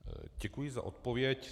Děkuji za odpověď.